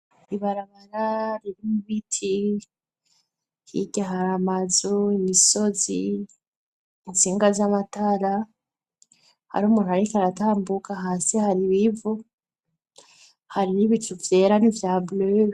Ibarabara ririmwo ibiti, hirya hari amazu, imisozi, intsinga z'amatara, hari umuntu ariko aratambuka, hasi hari ibivu hari n'ibicu vyera n'ivya bure.